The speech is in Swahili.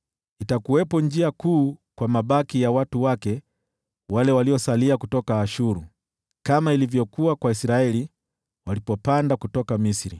Itakuwepo njia kuu kwa mabaki ya watu wake wale waliosalia kutoka Ashuru, kama ilivyokuwa kwa Israeli walipopanda kutoka Misri.